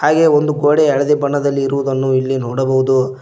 ಹಾಗೆ ಒಂದು ಗೋಡೆ ಹಳದಿ ಬಣ್ಣದಲ್ಲಿರುವುದನ್ನು ಇಲ್ಲಿ ನೋಡಬಹುದು.